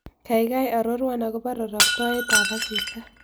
Gaigai arorwon agobo roroktoetapasista